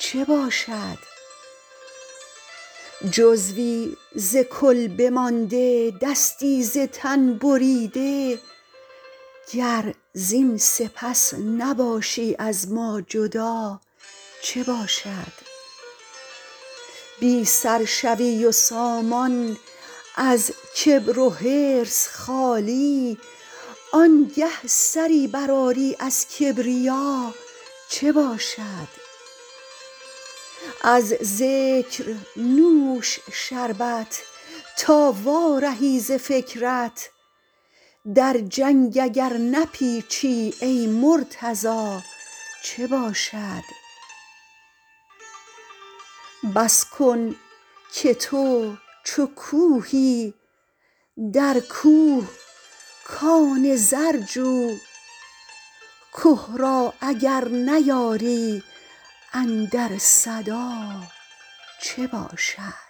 چه باشد جزوی ز کل بمانده دستی ز تن بریده گر زین سپس نباشی از ما جدا چه باشد بی سر شوی و سامان از کبر و حرص خالی آنگه سری برآری از کبریا چه باشد از ذکر نوش شربت تا وارهی ز فکرت در جنگ اگر نپیچی ای مرتضا چه باشد بس کن که تو چو کوهی در کوه کان زر جو که را اگر نیاری اندر صدا چه باشد